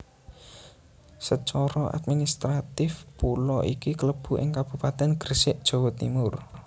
Secara administratif pulo iki klebu ing Kabupatèn Gresik Jawa Timur